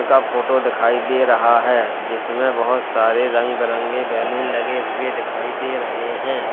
का फोटो दिखाई दे रहा है जिसमे बहुत सारे रंग बिरंगे बैलून लगे हुए दिखाई दे रहे हैं।